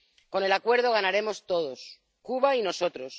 Con el Acuerdo ganaremos todos Cuba y nosotros.